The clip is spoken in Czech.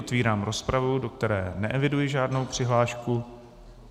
Otevírám rozpravu, do které neeviduji žádnou přihlášku.